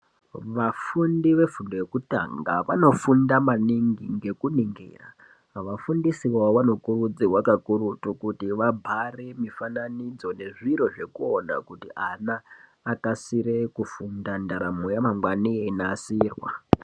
Vafundi vefundo yekutanga vanofunda maningi ngekuningira vafundisi vavavo vano kurudzirwa kakurutu kuti vabhare mufananidzo nezviro zvekuona kuti ana akasire kufunda ndaramo yava mangwani yechinasirwa.